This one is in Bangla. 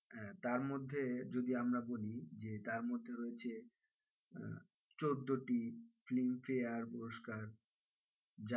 আহ তার মধ্যে যদি আমরা বলি যে তার মধ্যে রয়েছে আহ চোদ্দোটি ফিল্মফেয়ার পুরস্কার,